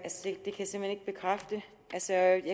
salen